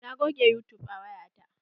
Na goge yutub a waya ta.